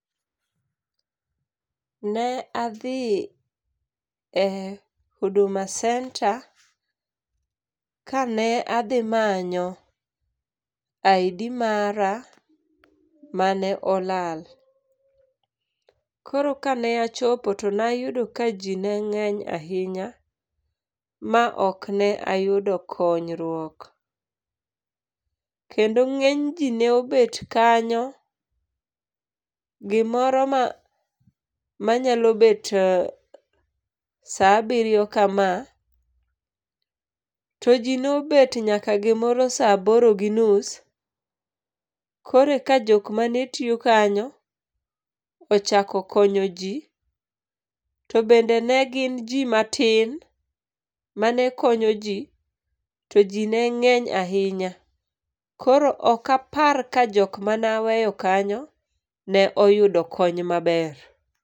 Ne adhi e huduma centre kane adhi manyo ID mara mane olal. Koro kane achopo to nayudo ka jii neng'eny ahinya ma okne ayudo konyrwuok. Kendo ng'eny jii neobet kanyo, gimoro ma manyalo bet saa abirio kama, to jii nobet nyaka saa aboro gi nus, koreka joma ne tio kanyo ochako konyo jii, to bende ne gin jii matin manekonyo jii, to jii neng'eny ahinya. Koro okapar ka jok manaweyo kanyo noyudo kony maber.